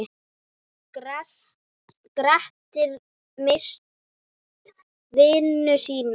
Grettir misst vinnuna sína.